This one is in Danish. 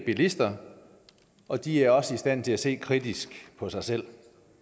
bilister og de er også i stand til at se kritisk på sig selv